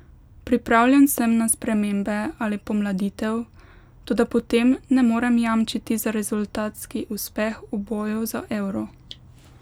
Pripravljen sem na spremembe ali pomladitev, toda potem ne morem jamčiti za rezultatski uspeh v boju za euro.